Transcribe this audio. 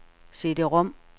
CD-rom